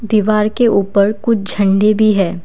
दीवार के ऊपर कुछ झंडे भी हैं।